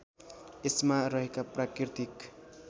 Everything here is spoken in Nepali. यसमा रहेका प्राकृतिक